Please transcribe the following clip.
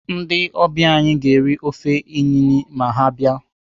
Ndị ọbịa anyị ga-eri ofe inine ma ha abịa.